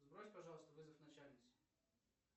сбрось пожалуйста вызов начальницы